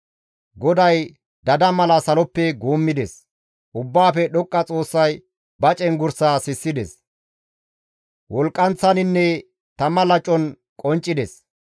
GODAY dada mala saloppe guummides; Ubbaafe Dhoqqa Xoossay ba cenggurssa sissides; wolqqanththaninne tama lacon qonccides.